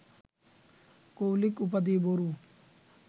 কৌলিক উপাধি বড়ু